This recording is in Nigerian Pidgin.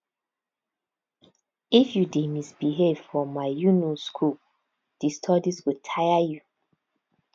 if you dey misbehave for my um school di studies go tire you